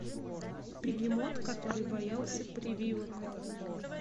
бегемот который боялся прививок